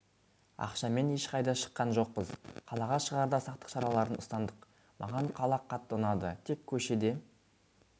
ақшамен ешқайда шыққан жоқпыз қалаға шығарда сақтық шараларын ұстандық маған қала қатты ұнады тек көшеде